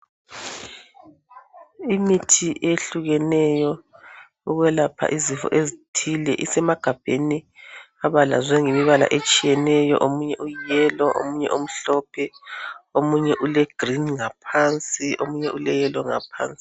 Imithi ehlukeneyo ukwelapha izifo ezithile isemagabheni abalazwe ngemibala etshiyeneyo omunye uyiyelo, omunye umhlophe omunye ulegreen ngaphansi omunye uleyelo ngaphansi.